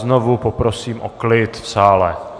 Znovu poprosím o klid v sále.